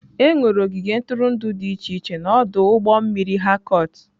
Ee, enwere ogige ntụrụndụ dị iche iche na ọdụ ụgbọ mmiri Harcourt.